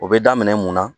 O bɛ daminɛ mun na